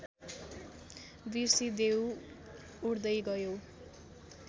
बिर्सिदेऊ उड्दै गयौ